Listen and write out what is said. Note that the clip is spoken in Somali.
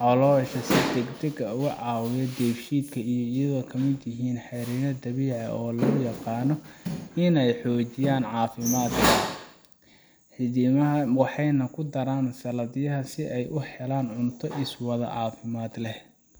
caloosha si degdeg ah uga caawiyo dheefshiidka iyadoo ay ka mid yihiin xeryo dabiici ah oo lagu yaqaan inay xoojiyaan caafimaadka xiidmaha waxayna ku daraan saladhyada si ay u helaan cunto iswada oo caafimaad leh